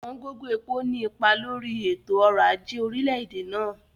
Ọ̀wọ̀n gógó epo ní ipa lórí i ètò orò aje orílẹ̀-èdè náà.